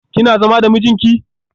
Kina zama da mijinki?